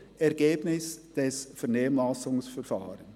«Ergebnis des Vernehmlassungsverfahrens».